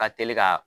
Ka teli ka